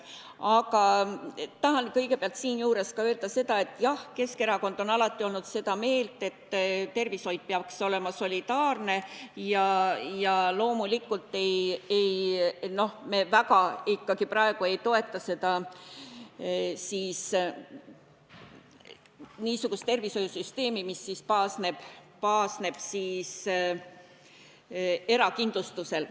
Aga tahan siinjuures kõigepealt öelda ka seda, et jah, Keskerakond on alati olnud seda meelt, et tervishoid peaks olema solidaarne, ja loomulikult me praegu ikkagi väga ei toeta niisugust tervishoiusüsteemi, mis baseerub erakindlustusel.